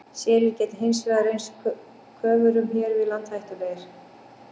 Selir geta hins vegar reynst köfurum hér við land hættulegir.